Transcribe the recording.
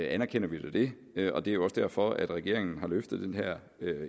anerkender vi det det og det er jo også derfor at regeringen har løftet den her